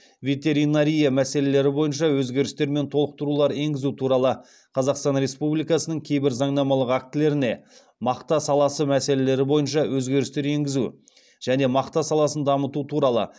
ветеринария мәселелері бойынша өзгерістер мен толықтырулар енгізу туралы қазақстан республикасының кейбір заңнамалық актілеріне мақта саласы мәселелері бойынша өзгерістер енгізу және мақта саласын дамыту туралы